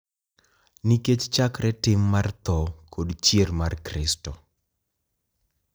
Nikech chakre tim mar tho kod chier mar Kristo,